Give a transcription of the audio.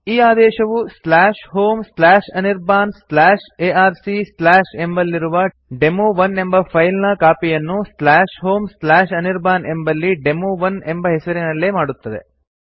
ಈ ಆದೇಶವು homeanirbanarc ಎಂಬಲ್ಲಿರುವ ಡೆಮೊ1 ಎಂಬ ಫೈಲ್ ನ ಕಾಪಿ ಯನ್ನು homeanirban ಎಂಬಲ್ಲಿ ಡೆಮೊ1 ಎಂಬ ಹೆಸರಿನಲ್ಲೇ ಮಾಡುತ್ತದೆ